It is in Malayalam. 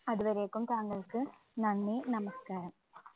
അത് വരേയ്ക്കും താങ്കള്‍ക്ക് നന്ദി, നമസ്കാരം.